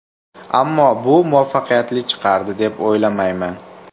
Ammo bu muvaffaqiyatli chiqardi, deb o‘ylamayman.